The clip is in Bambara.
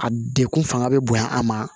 A degun fanga be bonya a ma